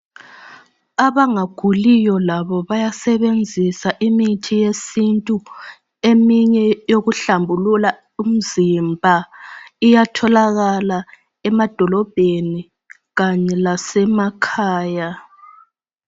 Abangaguliyo labo bayasebenzisa imithi yesintu. Eminye yokuhlambulula umzimba iyatholakala emadolobheni kanye lasemakhaya.